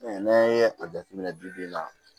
n'an ye a jateminɛ bi bi in na